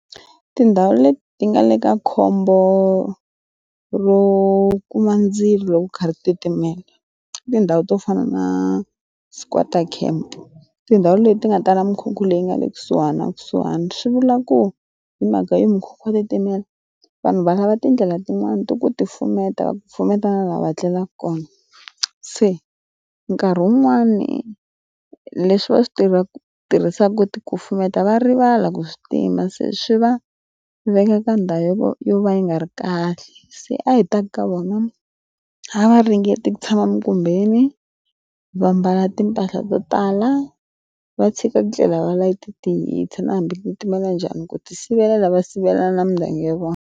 Tindhawu leti ti nga le ka khombo ro kuma ndzilo kha ri titimela tindhawu to fana na squarter camp tindhawu leti ti nga tala mukhukhu leyi nga le kusuhana kusuhani swi vula ku hi mhaka yo mukhegwa titimela vanhu valava tindlela tin'wani ti ku ti pfuneta va pfuneta lava tlelaka kona se nkarhi wun'wani leswi va swi tivaka tirhisaka ku kufumeta va rivala ku swi tima se swi va veka ka ndhawu yo yo va yi nga ri kahle se a hi taka ka vona a va ringeta ku tshama minkumbeni vambala timpahla to tala va tshika ndlela va layite tihisa na hambi leti mara njhani ku ti sivela lava sivela na mindyangu ya vona.